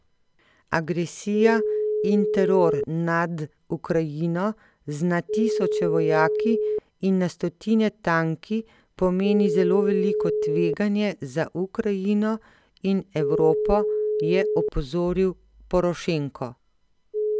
Agresija in teror nad Ukrajino z na tisoče vojaki in na stotine tanki pomeni zelo veliko tveganje za Ukrajino in Evropo, je opozoril Porošenko.